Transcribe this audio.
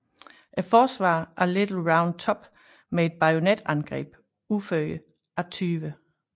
Forsvaret af Little Round Top med et bajonetangreb udført af 20